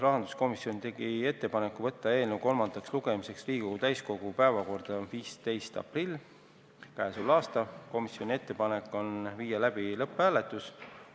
Rahanduskomisjon tegi ettepaneku võtta eelnõu kolmandaks lugemiseks Riigikogu täiskogu päevakorda 15. aprilliks ja viia läbi lõpphääletus.